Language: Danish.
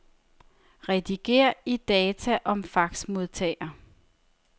Rediger i data om faxmodtager.